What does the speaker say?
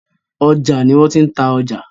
Ọjà ni wọ́n tí ń ta ọjà.